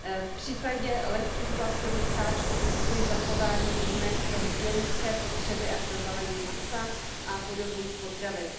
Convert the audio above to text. V případě lehkých plastových sáčků kvituji zachování výjimek pro hygienické potřeby a pro balení masa a podobných potravin.